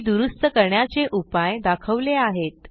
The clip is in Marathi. ती दुरूस्त करण्याचे उपाय दाखवले आहेत